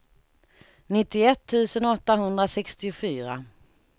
nittioett tusen åttahundrasextiofyra